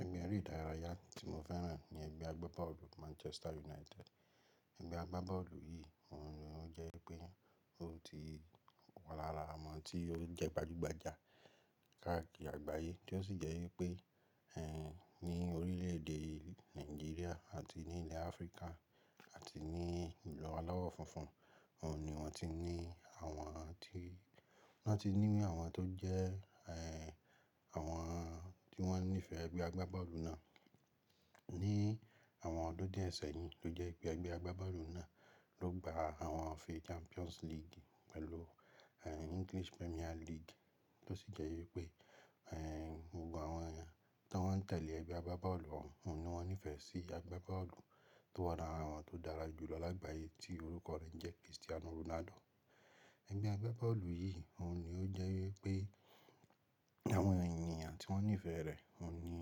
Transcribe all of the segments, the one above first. Ẹgbẹ́ eré ìdárayá tí mo fẹ́ràn ni ẹgbẹ́ agbábọ́ọ̀lù Manchester United. Ẹgbẹ́ agbábọ́ọ̀lù yìí òun ni ó jẹ́ pé mó ti wà lára àwọn tí ó jẹ́ gbajúgbajà káàkiri àgbáyé, tí ó sì jẹ́ wípé ẹ ní orílẹ̀ èdè Nàìjíríà àti ní ilẹ̀ Áfríkà àti ní ìlú alawọ funfun, ọ́un ni moti ní àwọn tí, wọ́n ti ní àwọn tó jẹ́ ẹ, àwọn tí wọ́n nífẹ̀ẹ́ ẹgbẹ́ agbábọ́ọ̀lù náà. Ni àwọn ọdún díẹ̀ sẹ́yìn ló jẹ́ wípé ẹgbẹ́ agbábọ́ọ̀lù náà ló gba àwọn ife Champions League pẹ̀lú ẹ English Premier League, tí ó sì jẹ́ wípé ẹ gbogbo àwọn èèyàn tí wọ́n ń tẹ̀lé ẹgbẹ́ agbábọ́ọ̀lù ọ́hun, ọ́un ni wọ́n nífẹ̀ẹ́ sí agbábọ́ọ̀lù tó wà lára wọn tó dára jù lọ lágbàyé tí orúkọ rẹ ń jẹ́ Cristiano Ronaldo. Ẹgbẹ́ agbábọ́ọ̀lù yìí òun ni ó jẹ́ wípé àwọn èèyàn tí wọ́n nífẹ̀ẹ́ rẹ̀, wọ́n ni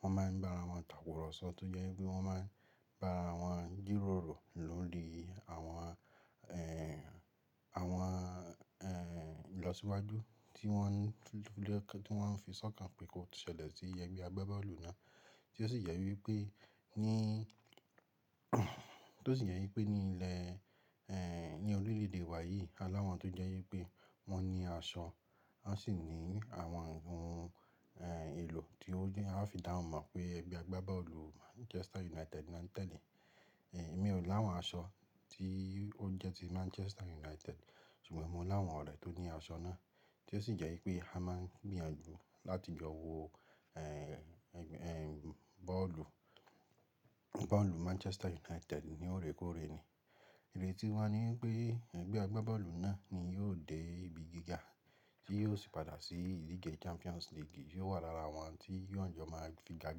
wọ́n máa ń bá ara wọn takùrọ̀sọ tó jẹ́ wípé wọ́n máa ń bá ara wọn jíróòró lórí àwọn ẹ, àwọn ẹ ìlọsíwájú tí wọ́n fi sọ̀kàn pé kó ṣẹlẹ̀ sí ẹgbẹ́ agbábọ́ọ̀lù náà, tí ó sì jẹ wípé ní tí ó sì yẹ wípé ní ilẹ̀ ẹ ní orílẹ̀ èdè wa yìí alawọn tó jẹ́ wípé wọ́n ní aṣọ, wọ́n sì ní àwọn ohun ẹ ìlò tí ó yẹ, a fi dáwon mọ̀ pé ẹgbẹ́ agbábọ́ọ̀lù Manchester United náà ń tẹ́lẹ̀. Ẹ̀mi ò láwọn aṣọ tí ó jẹ́ ti Manchester United ṣùgbọ́n mo láwọn ọ̀rẹ́ tó ní aṣọ náà tí ó sì jẹ́ wípé a máa ń gbìyànjú láti jọ wọọ ẹ, ẹ bọ́ọ̀lù, bọ́ọ̀lù Manchester United ní òrékòóre ni. Ire tí wa ní wípé ẹgbẹ́ agbábọ́ọ̀lù náà ni yóò dé ibi gíga tí yóò sì padà sí ìdíje Champions League yóò wà lára àwọn tí yóò jọ máa fi ga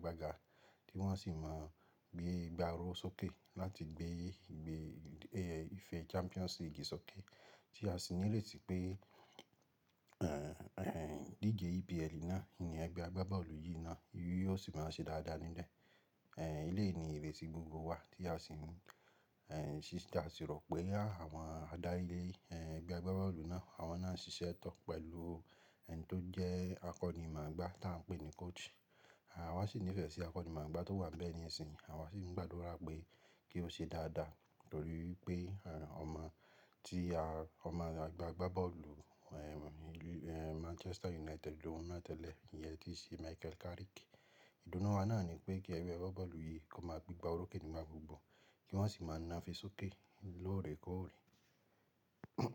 gbaga tí wọ́n sì máa gbé ìgba aró sókè láti gbé ìgbé ẹ ìfẹ́ Champions League sókè tí a sì ní iretí pé ẹ, idíje EPL náà, ní ẹgbẹ́ agbábọ́ọ̀lù yìí náà, yóò sì máa ṣe dáadáa níbẹ̀. Ẹ̀ ilé ni ère sí gbogbo wa tí a sì ń ẹ ṣiṣẹ́, a sì rò pé àwọn adárí ilé ẹgbẹ́ agbábọ́ọ̀lù náà, àwọn náà ń ṣiṣẹ́ tán pẹ̀lú ẹni tó jẹ́ akọni màá gbà tí à ń pè ní coach. Àwa sì nífẹ̀ẹ́ sí akọni màá gbà tó wà níbẹ̀ ní ìsinyìí, àwa sì ń gbàdúrà pé kí ó ṣe dáadáa nítorí pé ọmọ tí a, ọmọ agbábọ́ọ̀lù ẹ Manchester United ló mú wá tẹ́lẹ̀ ni ẹ́ tí í ṣe Michael Carrick. Ìdùnnú wa náà ni pé kí ẹgbẹ́ agbábọ́ọ̀lù yìí kó máa gbígba olókè nígbà gbogbo kí wọ́n sì máa nafe sókè lóòrẹ́ kóòrẹ́.